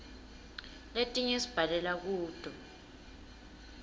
letinye sibhalela kuto